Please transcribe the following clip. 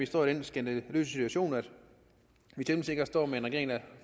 stå i den skandaløse situation at vi temmelig sikkert står med en regering der